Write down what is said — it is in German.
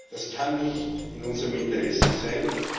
Das kann nicht in unserem Interesse sein.